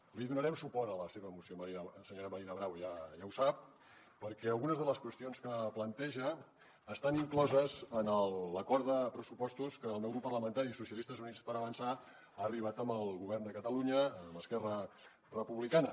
li donarem suport a la seva moció senyora marina bravo ja ho sap perquè algunes de les qüestions que planteja estan incloses en l’acord de pressupostos a què el meu grup parlamentari socialistes i units per avançar ha arribat amb el govern de catalunya amb esquerra republicana